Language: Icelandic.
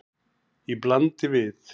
Í bland við